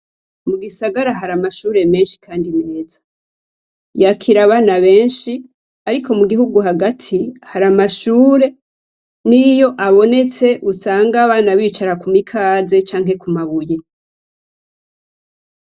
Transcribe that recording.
Mu gisagara hari amashure menshi kandi meza. Yakira abana benshi ariko mu gihugu hagati, hari amashure n'iyo abonetse, abana usanga bicara ku mikaze canke ku mabuye.